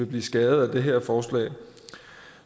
blive skadet af det her forslag